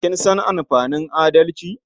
Kin san amfanin adalci?